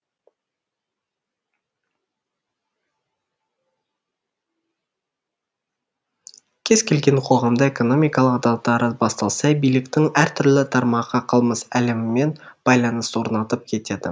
кез келген қоғамда экономикалық дағдарыс басталса биліктің әртүрлі тармағы қылмыс әлемімен байланыс орнатып кетеді